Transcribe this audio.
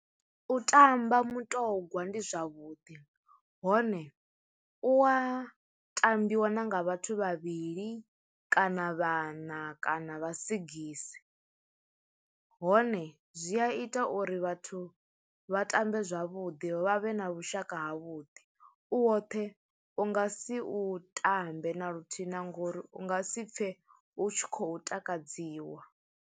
U tamba mutongwa ndi zwavhuḓi hone u wa tambiwa na nga vhathu vhavhili kana vhana kana vha sigisi, hone zwi a ita uri vhathu vha tambe zwavhuḓi vha vhe na vhushaka ha vhuḓi u woṱhe u nga si u tambe na luthihi na ngori u nga si pfe u tshi khou takadziwa.